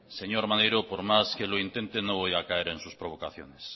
señor maneiro por más que lo intente no voy a caer en sus provocaciones